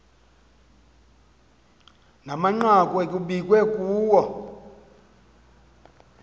namanqaku ekukbiwe kuwo